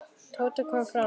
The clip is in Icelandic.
Tóti kom framar.